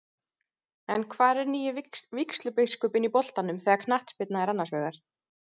En hvar er nýi vígslubiskupinn í boltanum þegar knattspyrna er annars vegar?